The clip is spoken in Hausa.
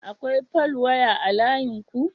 Akwai falwaya layinku?